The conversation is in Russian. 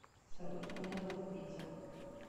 салют меня зовут петя